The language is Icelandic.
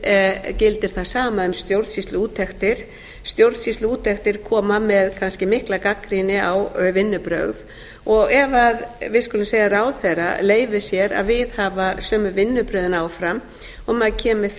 sömuleiðis gildir það sama um stjórnsýsluúttektir stjórnsýsluúttektir koma með kannski mikla gagnrýni á vinnubrögð og ef við skulum segja ráðherra leyfir sér að viðhafa sömu vinnubrögðin áfram og maður kemur með